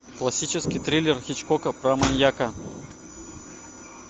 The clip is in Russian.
классический триллер хичкока про маньяка